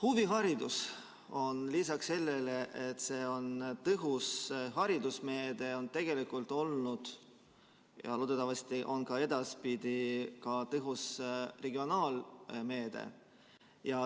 Huvihariduse on lisaks sellele, et see on tõhus haridusmeede, tegelikult olnud ja loodetavasti on ka edaspidi tõhus regionaalmeede.